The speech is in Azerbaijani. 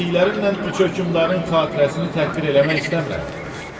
Dediklərimlə üç hökmdarın xatirəsini təhqir eləmək istəmirəm.